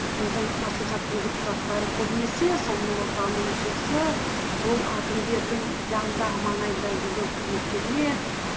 біздің маслихаттың депутаттары көбінесі сол нұр отанның мүшесі сол әкімдердің жанындағы маңайындағы жүрген қызметкерлер